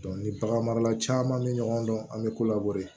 ni bagan marala caman bɛ ɲɔgɔn dɔn an bɛ ko labɔ de